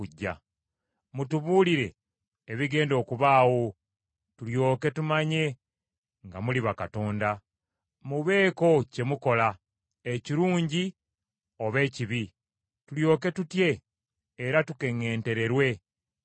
Mutubuulire ebigenda okubaawo tulyoke tumanye nga muli bakatonda. Mubeeko kye mukola ekirungi oba ekibi tulyoke tutye era tukeŋŋentererwe mu mutima.